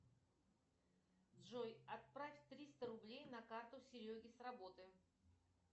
джой отправь триста рублей на карту сереге с работы